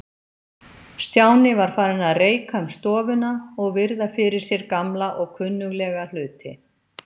Stjáni var farinn að reika um stofuna og virða fyrir sér gamla og kunnuglega hluti.